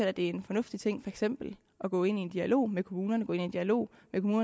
at det er en fornuftig ting eksempel at gå ind i en dialog med kommunerne at gå ind i en dialog